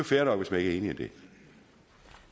fair nok hvis man ikke